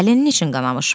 Əlin niyə qanamış?